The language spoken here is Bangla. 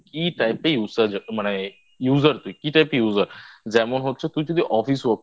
কি Type এর Use মানে User তুই? কি Type Type এর User যেমন হচ্ছে তুই যদি Office Work করিস